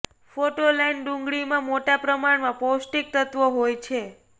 photo લાઈન ડુંગળીમાં મોટા પ્રમાણમાં પૌષ્ટિક તત્વો હોય છે